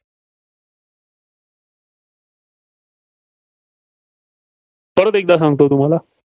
परत एकदा सांगतो.